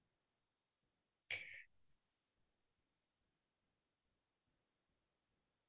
সেই আৰু, আৰু এনে পাহাৰিয়া ঠাই বুলি ক্'লেতো ধুনীয়াই লাগে